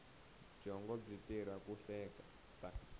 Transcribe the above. byongo byi tirha ku hleketa